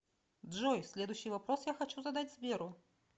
джой следующий вопрос я хочу задать сберу